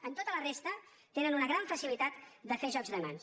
en tota la resta tenen una gran facilitat de fer jocs de mans